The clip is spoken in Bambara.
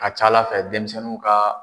A ka ca ala fɛ denmisɛnninw ka